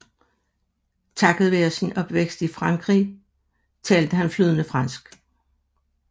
Takket være sin opvækst i Frankrig talte han flydende fransk